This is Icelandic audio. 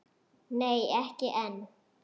Nei, ekki enn.